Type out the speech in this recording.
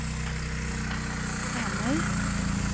Karmøy